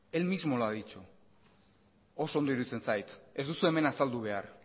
él mismo lo ha dicho oso ondo iruditzen zait ez duzue hemen azaldu behar